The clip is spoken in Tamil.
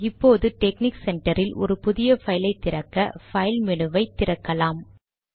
இப்போது டெக்னிக் சென்டர் இல் ஒரு புதிய பைல் ஐ திறக்க பைல் மெனுவை திறக்கலாம்